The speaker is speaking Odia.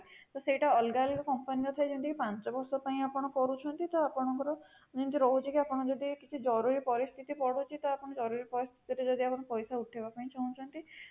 ସେଇଟା ଅଲଗା ଅଲଗା company ର ଥାଏ ଯେମିତି କି ପାଞ୍ଚ ବର୍ଷ ପାଇଁ ଆପଣ କରୁଛନ୍ତି ତ ଆପଣଙ୍କର ଯେମିତି ରହୁଛି ଆପଣ ଯଦି କିଛି ଜରୁରୀ ପରିସ୍ଥିତି ପଡୁଛି ତ ଆପଣ ଜରୁରୀ ପରିସ୍ଥିତିରେ ଯଦି ଆପଣ ପଇସା ଉଠେଇବାକୁ ଚାହୁଁଛନ୍ତି